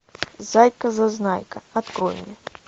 зайка зазнайка открой мне